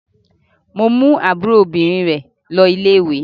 Mo mú àbúrò obìnrin rẹ̀ lọ ilé-ìwé.